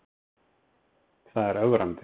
Það er ögrandi.